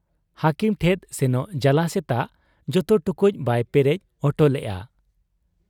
ᱦᱟᱹᱠᱤᱢ ᱴᱷᱮᱫ ᱥᱮᱱᱚᱜ ᱡᱟᱞᱟ ᱥᱮᱛᱟᱜ ᱡᱚᱛᱚ ᱴᱩᱠᱩᱡ ᱵᱟᱭ ᱯᱮᱨᱮᱡ ᱚᱴᱚ ᱞᱮᱜ ᱟ ᱾